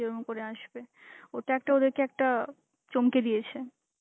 যে ওরকম করে আসবে. ওটা একটা ওদেরকে একটা চমকে দিয়েছে.